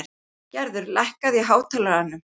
Gerðar, lækkaðu í hátalaranum.